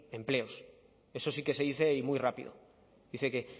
empleos eso sí que se dice y muy rápido dice que